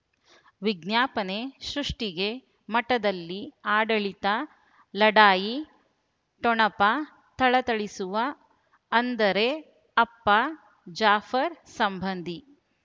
ವಿಜ್ಞಾಪನೆ ಸೃಷ್ಟಿಗೆ ಮಠದಲ್ಲಿ ಆಡಳಿತ ಲಢಾಯಿ ಠೊಣಪ ಥಳಥಳಿಸುವ ಅಂದರೆ ಅಪ್ಪ ಜಾಫರ್ ಸಂಬಂಧಿ